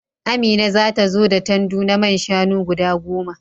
Amina za ta zo da tandu na man shanu guda goma.